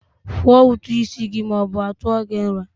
Kwụọ ụtụ isi gị ma ọ bụ a tụọ gị nra!